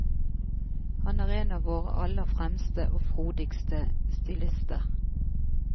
Han er en av våre aller fremste og frodigste stilister.